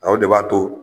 Aw de b'a to